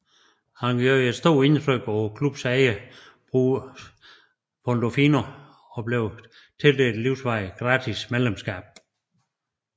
Han gjorde et stort indtryk på klubbens ejer Bruce Pandolfini og blev tildelt et livsvarigt gratis medlemskab